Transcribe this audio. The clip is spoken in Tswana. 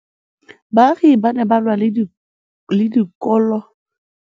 Baagi ba ne ba lwa le ditokolo tsa botsamaisi ba mmasepala morago ga go gaolelwa kabo metsi.